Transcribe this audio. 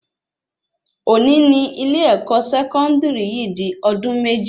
Òní ní ilé-èkó sẹkọndiri yìí di ọdún méjì